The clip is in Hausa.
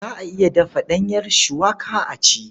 Za a iya dafa ɗanyar cuwaka a ci.